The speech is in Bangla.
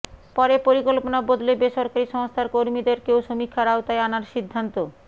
পরে পরিকল্পনা বদলে বেসরকারি সংস্থার কর্মীদেরকেও সমীক্ষার আওতায় আনার সিদ্ধান্ত